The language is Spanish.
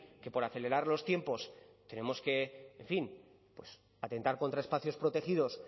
que por acelerar los tiempos tenemos que en fin atentar contra espacios protegidos